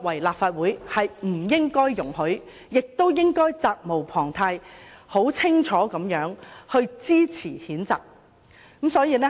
立法會不應該容許這種行為，應該很清楚地支持譴責，責無旁貸。